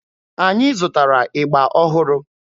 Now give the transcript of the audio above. Anyị zụtara ịgba ọhụrụ.